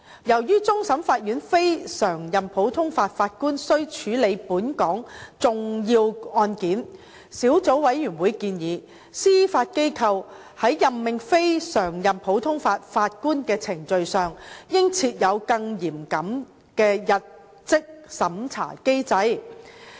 由於終審法院非常任普通法法官須處理本港重要案件，小組委員會建議，司法機構在任命非常任普通法法官的程序上應設有更嚴謹的入職審查機制。